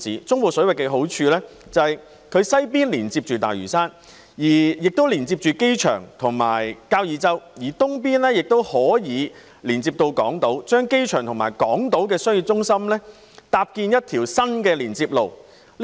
中部水域的好處是其西邊連接大嶼山、機場及交椅洲，東邊則連接港島，故此可搭建一條新的連接路接通機場及港島的商業中心。